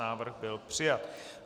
Návrh byl přijat.